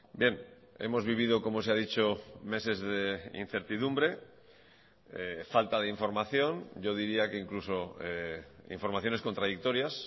bien hemos vivido como se ha dicho meses de incertidumbre falta de información yo diría que incluso informaciones contradictorias